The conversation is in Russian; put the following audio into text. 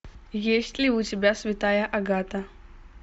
есть ли у тебя святая агата